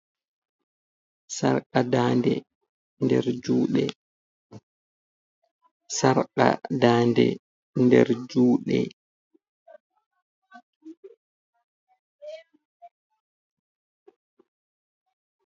Sarqa daande nder juɗe.